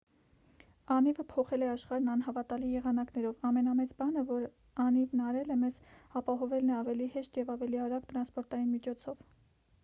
անիվը փոխել է աշխարհն անհավատալի եղանակներով ամենամեծ բանը որ անիվն արել է մեզ ապահովելն է ավելի հեշտ և ավելի արագ տրանսպորտային միջոցով